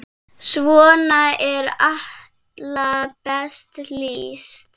Svona er Atla best lýst.